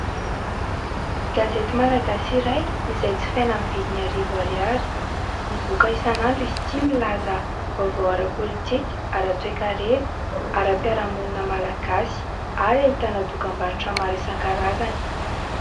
Gazety malagasy iray izay jifaina amin'ny vidiny arivo ariary. Mivoaka isan'andro izy ity, milaza vaovao ara-politika ara-toekarena, ara-piarahamonina malagasy ary ahitana dokam-barotra maro isankarazany.